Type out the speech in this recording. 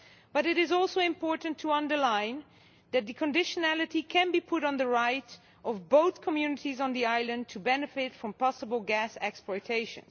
But it is also important to underline that the conditionality can be put on the right of both communities on the island to benefit from possible gas exploitation.